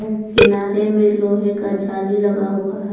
किनारे में लोहे का जाली लगा हुआ है।